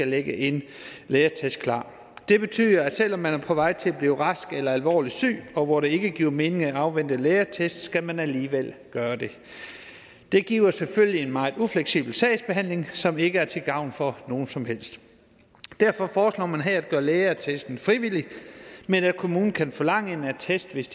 ligge en lægeattest klar det betyder at selv om man er på vej til at blive rask eller alvorligt syg og hvor det ikke giver mening at afvente lægeattest skal man alligevel gøre det det giver selvfølgelig en meget ufleksibel sagsbehandling som ikke er til gavn for nogen som helst derfor foreslår man her at gøre lægeattesten frivillig men at kommunen kan forlange en attest hvis